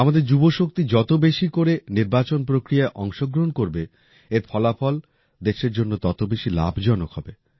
আমাদের যুবশক্তি যত বেশি করে নির্বাচন প্রক্রিয়ায় অংশগ্রহণ করবে এর ফলাফল দেশের জন্য তত বেশি লাভজনক হবে